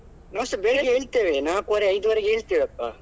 ನಾವ್ಸ ಬೇಗ ಏಳ್ತೆವೆ ನಾಲ್ಕುವರೆ ಐದುವರೆ ಗೆ ಏಳ್ತೆವೆ ಅಪ್ಪ.